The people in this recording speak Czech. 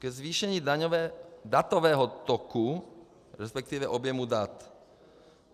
Ke zvýšení datového toku, respektive objemu dat.